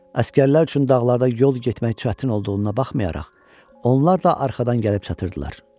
Əsgərlər üçün dağlarda yol getmək çətin olduğuna baxmayaraq, onlar da arxadan gəlib çatırdılar.